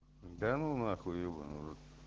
данунахуй ебанный в рот